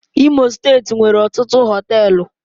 Imo steeti nwere ọtụtụ Họtelu